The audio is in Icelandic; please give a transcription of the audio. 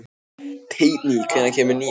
Teitný, hvenær kemur nían?